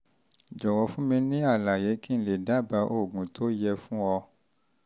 jọ̀wọ́ fún mi ní àlàyé kí n lè dábàá oògùn tó yẹ fún ọ